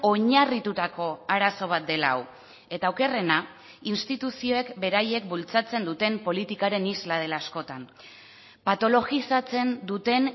oinarritutako arazo bat dela hau eta okerrena instituzioek beraiek bultzatzen duten politikaren isla dela askotan patologizatzen duten